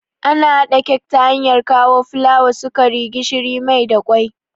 Ana haɗa kek ta hanyar kawo fulawa, sukari, gishiri, mai da kwai